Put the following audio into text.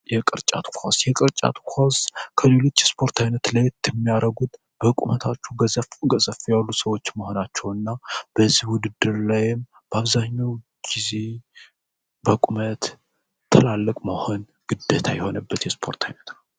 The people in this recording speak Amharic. የቅርጫት ኳስ ከሌሎች የስፓር አይነቶች ለየት የሚያደርገዉ በቁመታቸዉ ገዘፍ ገዘፍ ያሉ ሰወች መኖራቸዉ እና በዚህ ዉድድር ላይም በአብዛኛዉም ጊዜ በቁመት ትላልቅ መሆን ግዴታ የሆነበት የስፖርት አይነት ነዉ።